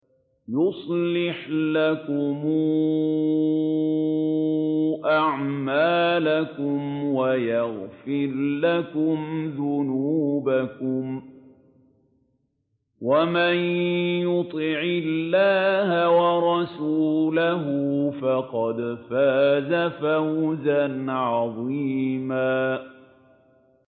يُصْلِحْ لَكُمْ أَعْمَالَكُمْ وَيَغْفِرْ لَكُمْ ذُنُوبَكُمْ ۗ وَمَن يُطِعِ اللَّهَ وَرَسُولَهُ فَقَدْ فَازَ فَوْزًا عَظِيمًا